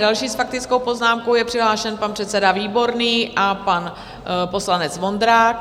Další s faktickou poznámkou je přihlášen pan předseda Výborný a pan poslanec Vondrák.